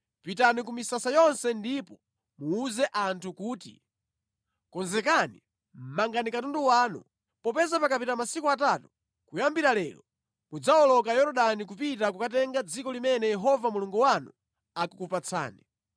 “Pitani ku misasa yonse ndipo muwuze anthu kuti, ‘Konzekani, mangani katundu wanu, popeza pakapita masiku atatu kuyambira lero mudzawoloka Yorodani kupita kukatenga dziko limene Yehova Mulungu wanu akukupatsani.’ ”